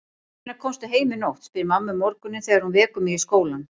Hvenær komstu heim í nótt, spyr mamma um morguninn þegar hún vekur mig í skólann.